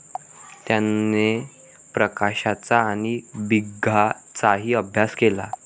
त्याने प्रकाशाचा आणि भिंगाचाही अभ्यास केला.